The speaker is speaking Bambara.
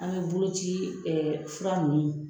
An be bolo ci ɛɛ fura nunnu